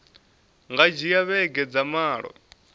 nga dzhia vhege dza malo